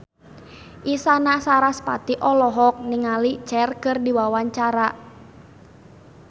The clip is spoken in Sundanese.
Isyana Sarasvati olohok ningali Cher keur diwawancara